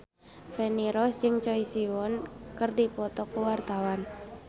Feni Rose jeung Choi Siwon keur dipoto ku wartawan